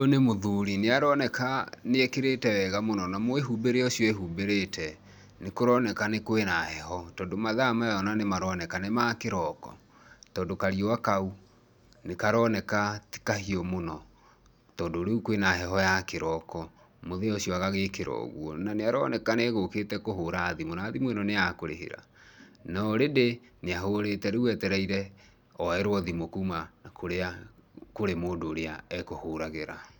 Ũyũ nĩ mũthuri. Nĩaroneka nĩekĩrĩte wega na mwĩhumbĩre ũcio ehumbĩrĩte nĩ kũroneka kwĩna heho tondũ mathaa maya nĩ maroneka nĩ ma kĩroko tondũ kariũa kau nĩ karoneka ti kahiũ mũno tondũ rĩu kwĩna heho ya kĩroko mũthee ũcio agagĩkĩra. Nĩ aroneka egũkĩte kũhũra thimũ, na thimũ ĩno nĩ ya kũrĩhĩra norĩndĩ nĩahũrĩte, rĩu etereire oYerwo thimũ kuma kũrĩa kũrĩ mũndũ ũrĩa ekũhũragĩra.